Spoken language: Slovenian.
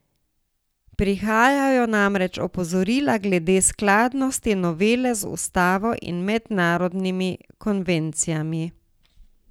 Prihajajo namreč opozorila glede skladnosti novele z ustavo in mednarodnimi konvencijami.